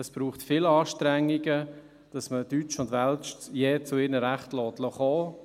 Es braucht viele Anstrengungen, dass man deutsch und welsch je zu ihren Rechten kommen lässt.